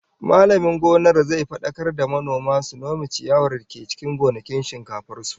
Mallamin gonar zai fadakar da manoman su nome ciyawar da ke cikin gonakin shinkafar su